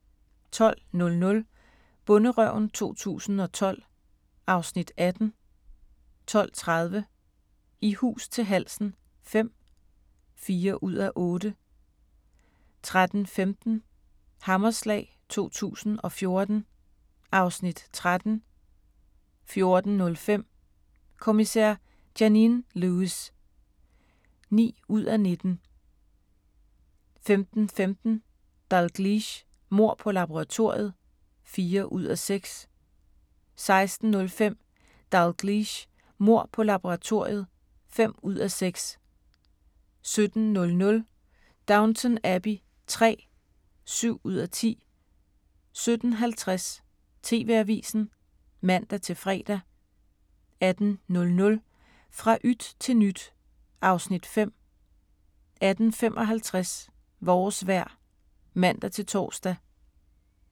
12:00: Bonderøven 2012 (Afs. 18) 12:30: I hus til halsen V (4:8) 13:15: Hammerslag 2014 (Afs. 13) 14:05: Kommissær Janine Lewis (9:19) 15:15: Dalgliesh: Mord på laboratoriet (4:6) 16:05: Dalgliesh: Mord på laboratoriet (5:6) 17:00: Downton Abbey III (7:10) 17:50: TV-avisen (man-fre) 18:00: Fra yt til nyt (Afs. 5) 18:55: Vores vejr (man-tor)